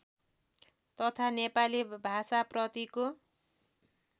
तथा नेपाली भाषाप्रतिको